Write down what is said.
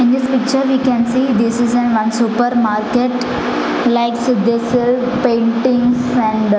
in this picture we can see this is an one super market like this is paintings and --